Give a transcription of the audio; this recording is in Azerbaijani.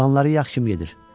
Planları yaxşı gedir.